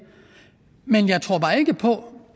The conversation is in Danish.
men jeg tror bare ikke på